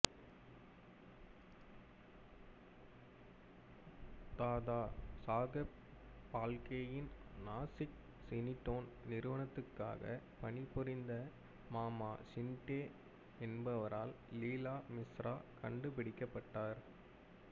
தாதா சாகெப் பால்கேயின் நாசிக் சினிடோன் நிறுவனத்துக்காக பணிபுரிந்த மாமா ஷிண்டே என்பவரால் லீலா மிஸ்ரா கண்டுபிடிக்கப்பட்டார்